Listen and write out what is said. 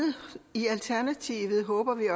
i alternativet håber vi